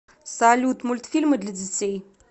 салют мультфильмы для детей